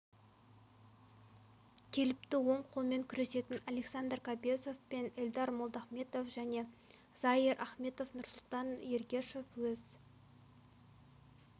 келіпті оң қолмен күресетін александр кобесов пен элдар молдахметов және заир ахметов нұрсұлтан ергешов өз